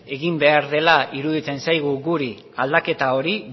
egin behar dela iruditzen zaigu guri aldaketa hori